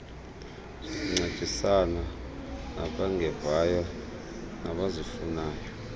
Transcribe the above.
zokuncedisana nabangevayo abazifunayo